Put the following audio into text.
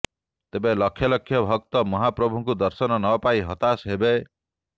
ତେବେ ଲକ୍ଷ ଲକ୍ଷ ଭକ୍ତ ମହାପ୍ରଭୁଙ୍କ ଦର୍ଶନ ନପାଇ ହତାଶ ହେବେ